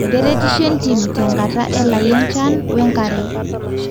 keretisho entim tenkata elai enchan we nkare